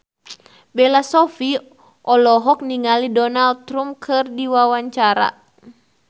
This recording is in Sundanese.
Bella Shofie olohok ningali Donald Trump keur diwawancara